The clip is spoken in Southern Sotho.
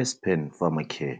Aspen Pharmacare